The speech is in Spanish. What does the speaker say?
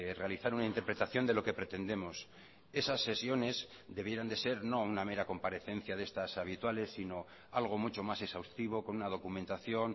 realizar una interpretación de lo que pretendemos esas sesiones debieran de ser no una mera comparecencia de estas habituales sino algo mucho más exhaustivo con una documentación